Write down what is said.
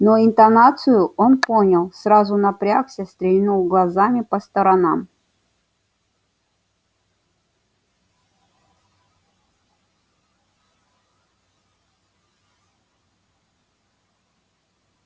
но интонацию он понял сразу напрягся стрельнул глазами по сторонам